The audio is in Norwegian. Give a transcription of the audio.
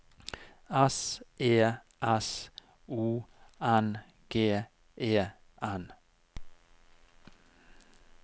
S E S O N G E N